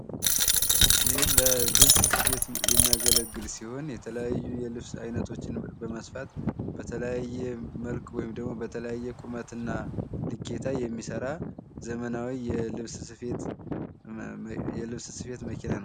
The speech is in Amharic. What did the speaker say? ይህ ለልብስ ስፌት የሚያገለግል ሲሆን የተለያዩ የልብስ አይነቶችን በመስፋት በተለያየ መልክ ወይም ደግሞ በተለያየ ቁመትና ልኬታ የሚሰራ ዘመናዊ የልብስ ስፌት መኪና ነው።